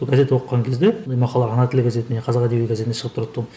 газет оқыған кезде мен мақала ана тілі газетіне қазақ әдебиеті газетіне шығып тұратын тұғым